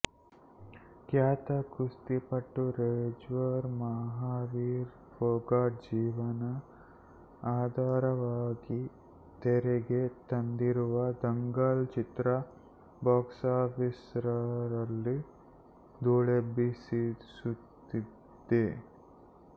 ಖ್ಯಾತ ಕುಸ್ತಿಪಟು ರೆಜ್ಲರ್ ಮಹಾವೀರ್ ಪೋಗತ್ ಜೀವನ ಆಧಾರವಾಗಿ ತೆರೆಗೆ ತಂದಿರುವ ದಂಗಲ್ ಚಿತ್ರ ಬಾಕ್ಸಾಫೀಸರಲ್ಲಿ ಧೂಳೆಬ್ಬಿಸುತ್ತಿದೆ